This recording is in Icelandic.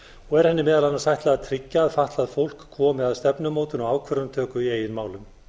og er henni meðal annars ætlað að tryggja að fatlað fólk komi að stefnumótun og ákvörðunartöku í eigin málum